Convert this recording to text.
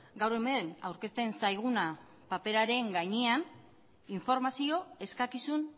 gaur hemen aurkezten zaiguna paperaren gainean informazio eskakizun